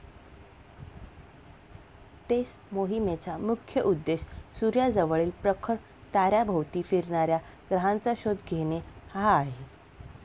टेस मोहिमेचा मुख्य उद्देश सूर्याजवळील प्रखर ताऱ्याभोवती फिरणाऱ्या ग्रहांचा शोध घेणे हा आहे.